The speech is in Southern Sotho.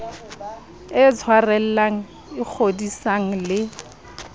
e tshwarellang e kgodisang le